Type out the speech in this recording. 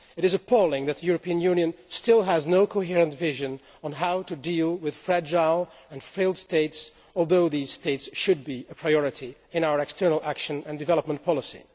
It is appalling that the European Union still has no coherent vision of how to deal with fragile and failed states although these states should be a priority in our external action and development policy.